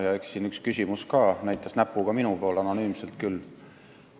Ja eks siin ühes küsimuses näidati näpuga minu poole, minu nime küll nimetamata.